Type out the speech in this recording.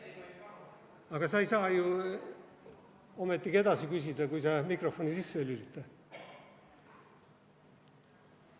Aga sa ei saa ju ometigi edasi küsida, kui sa mikrofoni sisse ei lülita.